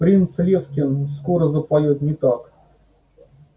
принц лефкин скоро запоёт не так